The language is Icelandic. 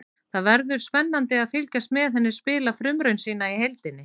Það verður spennandi að fylgjast með henni spila frumraun sína í deildinni.